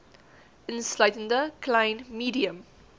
insluitende klein medium